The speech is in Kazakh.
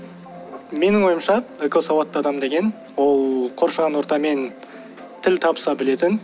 менің ойымша экосауатты адам деген ол қоршаған ортамен тіл табыса білетін